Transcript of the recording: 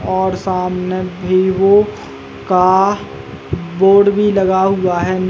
और सामने विवो का बोर्ड भी लगा हुआ है नीचे --